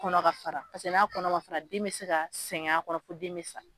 Kɔnɔ ka fara pase n'a kɔnɔ ma fara den be se ka sɛgɛn a kɔnɔ fɔ den be se ka sa